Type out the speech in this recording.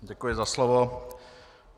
Děkuji za slovo.